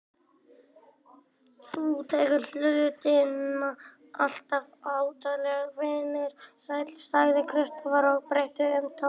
Þú tekur hlutina alltof hátíðlega, vinur sæll, sagði Kristófer og breytti um tón.